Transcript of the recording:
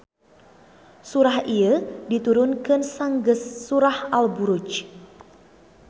Surah ieu diturunkeun sanggeus surah Al Buruj.